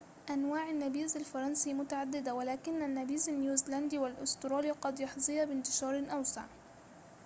أنواع النبيذ الفرنسي متعددة ولكن النبيذ النيوزيلندي والأسترالي قد يحظيا بانتشار أوسع